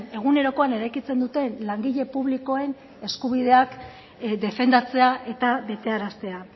egunerokoan eraikitzen duten langile publikoen eskubideak defendatzea eta betearaztea